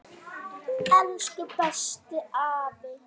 Elsku bestu afi.